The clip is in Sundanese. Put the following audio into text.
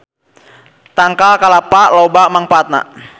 Tangkal kalapa loba mangfaatna